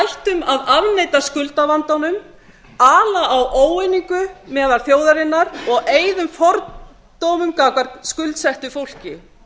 að afneita skuldavandanum ala á óeiningu meðal þjóðarinnar og eyðum fordómum gagnvart skuldsettu fólki